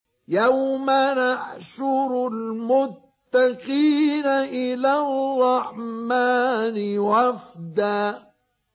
يَوْمَ نَحْشُرُ الْمُتَّقِينَ إِلَى الرَّحْمَٰنِ وَفْدًا